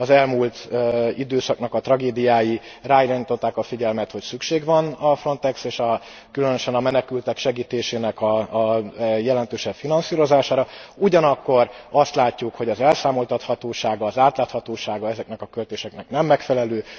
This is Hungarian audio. Az elmúlt időszaknak a tragédiái ráirányították a figyelmet, hogy szükség van a Frontex és különösen a menekültek segítésének a jelentősebb finanszírozására, ugyanakkor azt látjuk, hogy az elszámoltathatósága, az átláthatósága ezeknek a költéseknek nem megfelelő.